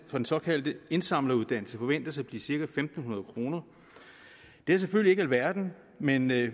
den såkaldte indsamleruddannelse forventes at blive cirka fem hundrede kroner det er selvfølgelig ikke alverden men med